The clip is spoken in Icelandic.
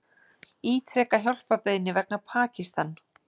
Ítreka hjálparbeiðni vegna Pakistan